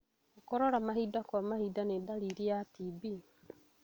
Gũkorora mahinda kwa mahinda nĩ ndariri ya TB